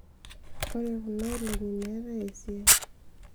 ore kuna olongi meetae esiai